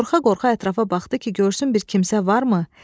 Qorxa-qorxa ətrafa baxdı ki, görsün bir kimsə varmı?